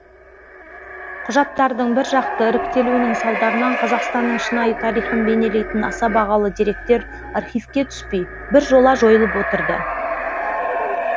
құжаттардың біржақты іріктелуінің салдарынан қазақстанның шынайы тарихын бейнелейтін аса бағалы деректер архивке түспей біржола жойылып отырды